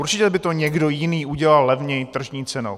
Určitě by to někdo jiný udělal levněji tržní cenou.